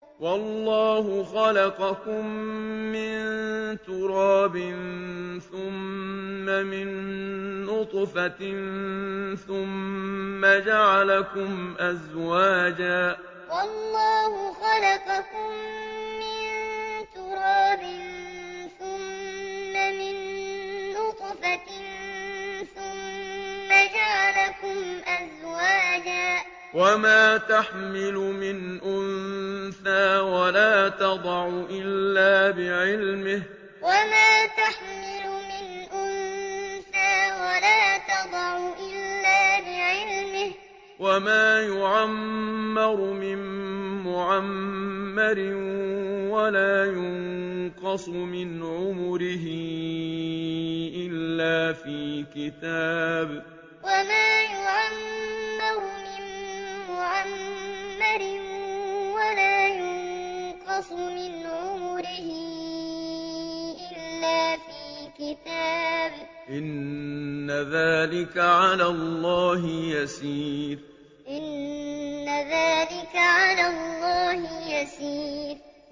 وَاللَّهُ خَلَقَكُم مِّن تُرَابٍ ثُمَّ مِن نُّطْفَةٍ ثُمَّ جَعَلَكُمْ أَزْوَاجًا ۚ وَمَا تَحْمِلُ مِنْ أُنثَىٰ وَلَا تَضَعُ إِلَّا بِعِلْمِهِ ۚ وَمَا يُعَمَّرُ مِن مُّعَمَّرٍ وَلَا يُنقَصُ مِنْ عُمُرِهِ إِلَّا فِي كِتَابٍ ۚ إِنَّ ذَٰلِكَ عَلَى اللَّهِ يَسِيرٌ وَاللَّهُ خَلَقَكُم مِّن تُرَابٍ ثُمَّ مِن نُّطْفَةٍ ثُمَّ جَعَلَكُمْ أَزْوَاجًا ۚ وَمَا تَحْمِلُ مِنْ أُنثَىٰ وَلَا تَضَعُ إِلَّا بِعِلْمِهِ ۚ وَمَا يُعَمَّرُ مِن مُّعَمَّرٍ وَلَا يُنقَصُ مِنْ عُمُرِهِ إِلَّا فِي كِتَابٍ ۚ إِنَّ ذَٰلِكَ عَلَى اللَّهِ يَسِيرٌ